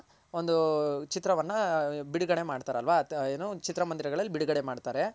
ಒಂದು ಚಿತ್ರವನ್ನ ಬಿಡುಗಡೆ ಮಾಡ್ತಾರಲ್ವ ಏನು ಚಿತ್ರ ಮಂದಿರಗಳಲ್ಲಿ ಬಿಡುಗಡೆ ಮಾಡ್ತಾರೆ.